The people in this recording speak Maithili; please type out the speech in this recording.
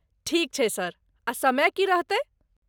ठीक छै सर, आ समय की रहतै?